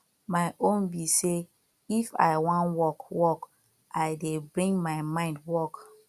my own be say if i wan work work i dey bring my mind work